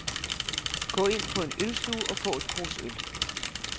Gå ind på en ølstue og få et krus øl.